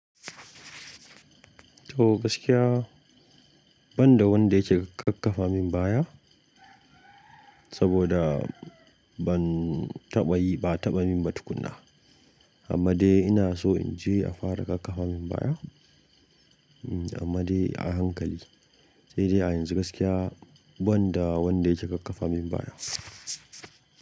To gaskiya, ban da wanda yake kakkafa min baya saboda ban taɓa yi, ba a taɓa min ba tukuna. Amma dai ina so in je a fara kakkafa min baya. Hmm, amma dai a hankali. Sai dai a yanzu gaskiya, ban da wanda yake kakkafa min baya.